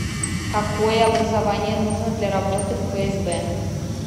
какое образование нужно для работы в фсб